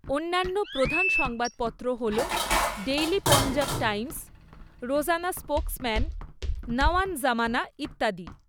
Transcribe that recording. অন্যান্য প্রধান সংবাদপত্র হল daily Punjab Times, Rozana Spokesman, Nawan Zamana ইত্যাদি।